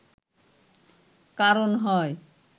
কারণ হয়